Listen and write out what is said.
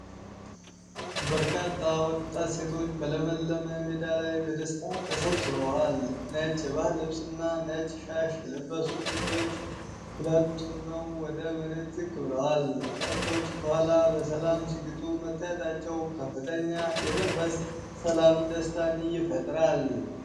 በርካታ ወጣት ሴቶች በለመለመ ሜዳ ላይ በደስታ ተሰብስበዋል። ነጭ የባህል ልብስና ነጭ ሻሽ የለበሱት ሴቶች ሁለት ሆነው ወደ መሬት ዝቅ ብለዋል። ከብቶች ከኋላ በሰላም ሲግጡ መታየታቸው ከፍተኛ የመንፈሳዊ ሰላም ደስታን ይፈጥራል።